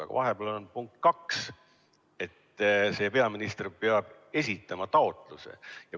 Aga vahepeal on lõige 2 ja seal on öeldud, peaminister peab esitama taotluse.